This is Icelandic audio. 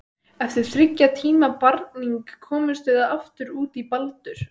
Eftir þriggja tíma barning komumst við aftur út í Baldur.